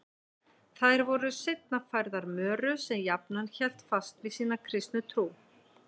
Þær voru seinna færðar Möru sem jafnan hélt fast við sína kristnu trú.